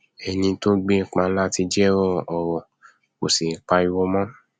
ẹni tó gbé páńlá ti jẹwọ ọrọ kò sì pariwo mọ